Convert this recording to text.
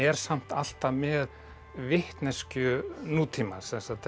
samt alltaf með vitneskju nútímans